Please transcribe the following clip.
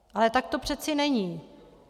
Ale tak to přeci není.